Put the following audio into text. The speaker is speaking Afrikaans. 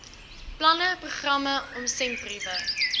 planne programme omsendbriewe